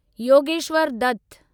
Yogeshwar Dutt